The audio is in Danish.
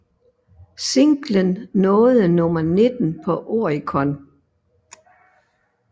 Singlen nåede nummer 19 på Oricon